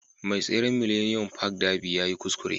Mai tseren Millennium Park Darby yayi kuskure